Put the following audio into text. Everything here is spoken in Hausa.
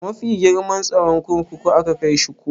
A mafi girman tsaron kurkuku aka kaishi ko?